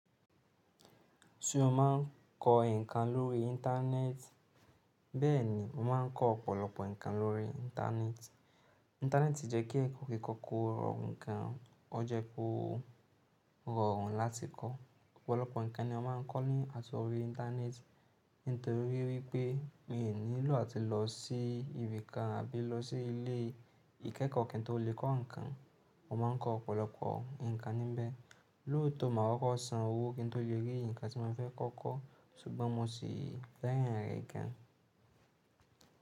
Ṣé o máa ń kọ́ nǹkan lórí Íńtánẹ́ẹ̀tì? Bẹ́ẹ̀ni, mo máa ń kọ́ ọ̀pọ̀lọpọ̀ nǹkan lórí Íńtánẹ́ẹ̀tì. Íńtánẹ́ẹ̀tì jẹ́ kí èkó kíkọ́ kó rọrùn gan, ó jẹ́ kó rọrùn láti kọ́. Ọ̀pọ̀lọpọ̀ nǹkan ni a máà ń kọ́ ní àtorí Íńtánẹ́ẹ̀tì nítorí wípé mi ò nílò àti lọ sí ibì kan àbí lọ sí ilé ìkẹ́kọ̀ọ́ kí n tó lè kọ́ nǹkan. Mo máa ń kọ́ ọ̀pọ̀lọpọ̀ nǹkan níbẹ̀. Lóòtọ́, màá wá kó san owó kí n tó lè rí nǹkan tí mo fẹ́ kọ́ kọ́ ṣùgbọ́n mo ṣì fẹ́ràn rẹ̀ gan.